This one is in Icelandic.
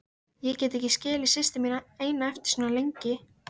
Ég get ekki skilið systur mína eina eftir svo lengi!